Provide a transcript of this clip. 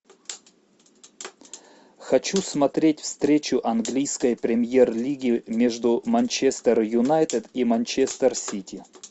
хочу смотреть встречу английской премьер лиги между манчестер юнайтед и манчестер сити